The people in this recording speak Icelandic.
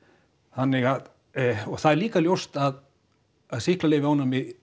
þannig að og það er líka ljóst að sýklalyfjaónæmi